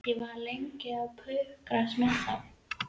Ég var lengi að pukrast með þá.